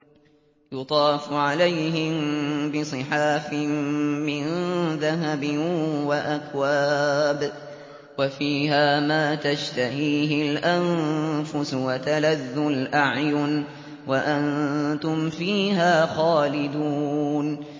يُطَافُ عَلَيْهِم بِصِحَافٍ مِّن ذَهَبٍ وَأَكْوَابٍ ۖ وَفِيهَا مَا تَشْتَهِيهِ الْأَنفُسُ وَتَلَذُّ الْأَعْيُنُ ۖ وَأَنتُمْ فِيهَا خَالِدُونَ